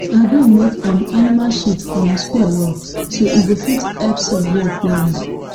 agree make um animal shit um spoil well so e go fit help soil work well well